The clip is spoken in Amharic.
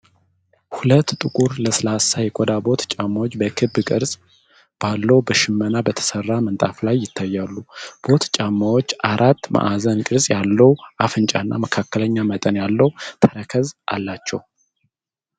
ሁለት ጥቁር፣ ለስላሳ የቆዳ ቦት ጫማዎች በክብ ቅርጽ ባለው በሽመና በተሰራ ምንጣፍ ላይ ይታያሉ። ቦት ጫማዎቹ አራት ማዕዘን ቅርጽ ያለው አፍንጫና መካከለኛ መጠን ያለው ተረከዝ አላቸው።